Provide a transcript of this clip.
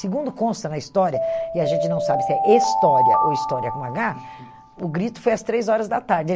Segundo consta na história, e a gente não sabe se é estória ou história com agá, o grito foi às três horas da tarde.